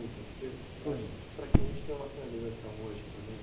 Para que a gente tenha uma finalização hoje, pelo menos...